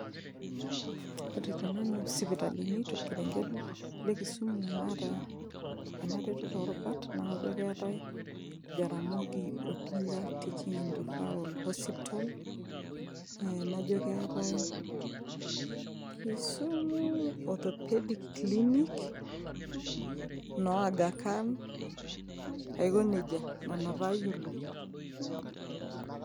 ore te nanu isipitalini torkerenget le kisumu naata ena retoto orubat naa kajo keetae jaramogi odinga teaching and refferal hospital ee najo keetae kisumu orthopaedic clinic ino aga khan aiko nejia nana taa ayiolo.